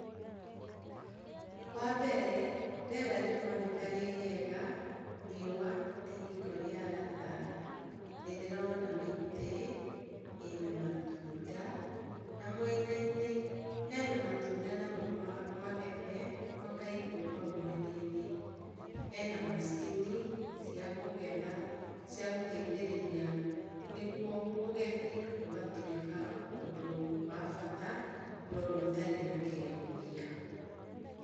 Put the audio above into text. Wambere, rĩera rĩroneka rĩrĩega, riũa nĩ hingo rĩa ratha. Nĩndĩrona mĩtĩ ĩna matunda, na mwena-inĩ hena matunda magetha makaigwo hau mwena-inĩ. Hena macini cia kũgetha, cia gũteithĩrĩria, nĩguo ũgethi ũgatuĩka ũndũ wa bata na ũndũ ũtarĩ na kĩremithia.